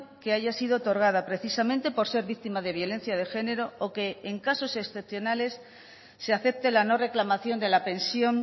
que haya sido otorgada precisamente por ser víctima de violencia de género o que en casos excepcionales se acepte la no reclamación de la pensión